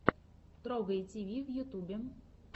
торгай тиви в ютубе